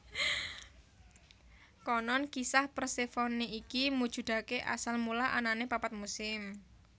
Konon kisah Persefone iki mujudake asal mula anane papat musim